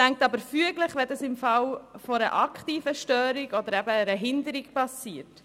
Es reicht aber füglich, wenn dies im Falle einer aktiven Störung oder eben einer Hinderung passiert.